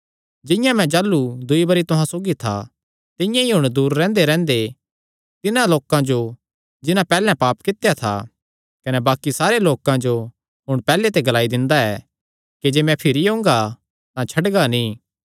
जिंआं मैं जाह़लू दूई बरी तुहां सौगी था तिंआं ई हुण दूर रैंह्देरैंह्दे तिन्हां लोकां जो जिन्हां पैहल्ले पाप कित्या था कने बाक्कि सारे लोकां जो हुण पैहल्ले ते ग्लाई दिंदा ऐ कि जे मैं भिरी ओंगा तां छड्डगा नीं